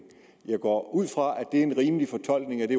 jeg går ud fra at det er en rimelig fortolkning af det